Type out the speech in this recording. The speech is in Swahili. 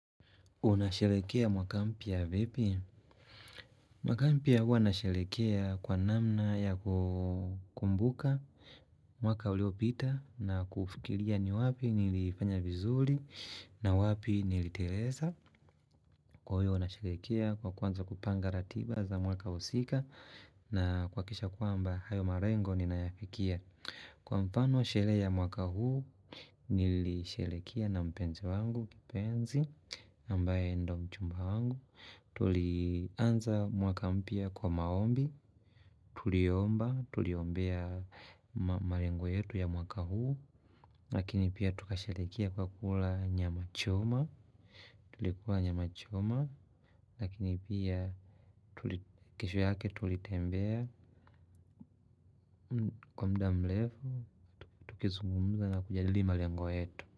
Unasherehekea mwaka mpya vipi? Mwaka mpya huwa nasherekea kwa namna ya kukumbuka mwaka uliopita na kufikiria ni wapi nilifanya vizuri na wapi niliteleza. Kwa hiyo nasherekea kwa kwanza kupanga ratiba za mwaka husika na kuhakisha kwamba hayo marengo ninayafikia. Kwa mfano, sherehe ya mwaka huu nilisherekea na mpenzi wangu, kipenzi, ambaye ndo mchumba wangu. Tulianza mwaka mpya kwa maombi, tuliomba, tuliombea marengo yetu ya mwaka huu. Lakini pia tukasherehekea kwa kula nyama choma, tulikula nyama choma. Lakini pia kesho yake tulitembea kwa muda mrefu. Tukizungumza na kujadili malengo yetu.